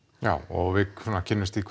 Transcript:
já og við svona kynnumst því